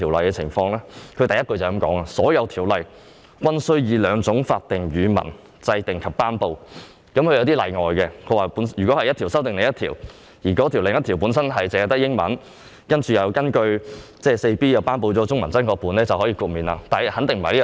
當中第1款指明，"所有條例均須以兩種法定語文制定及頒布"，但也有例外，例如某一條例修訂另一條例，而該另一條例本身只有英文本，且未有根據該條例第 4B1 條頒布中文真確本，便可獲得豁免。